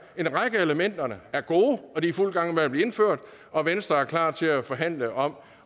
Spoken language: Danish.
en række af elementerne er gode og de er i fuld gang med at blive indført og venstre er klar til at forhandle om